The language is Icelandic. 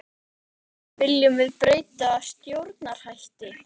Hörður Torfason: Viljum við breytta stjórnarhætti?